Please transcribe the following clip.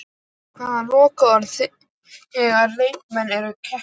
Hver á lokaorðið þegar leikmenn eru keyptir?